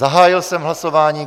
Zahájil jsem hlasování.